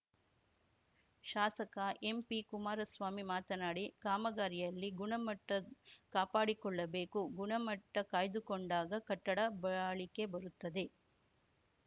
ಶಾಸಕ ಎಂಪಿ ಕುಮಾರಸ್ವಾಮಿ ಮಾತನಾಡಿ ಕಾಮಗಾರಿಯಲ್ಲಿ ಗುಣಮಟ್ಟಕಾಪಾಡಿಕೊಳ್ಳಬೇಕು ಗುಣಮಟ್ಟಕಾಯ್ದುಕೊಂಡಾಗ ಕಟ್ಟಡ ಬಾಳಿಕೆ ಬರುತ್ತದೆ